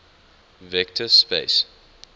vector space